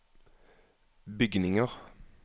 bygninger